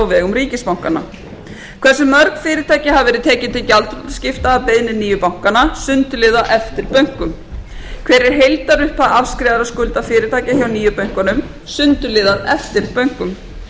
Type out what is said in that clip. á vegum ríkisbankanna hversu mörg fyrirtæki hafa verið tekin til gjaldþrotaskipta að beiðni nýju bankanna sundurliðað eftir bönkum hver er heildarupphæð afskrifaðra skulda fyrirtækja hjá nýju bönkunum sundurliðað eftir bönkum